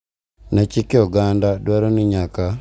Ne chike oganda dwaro ni nyaka tergi nyango.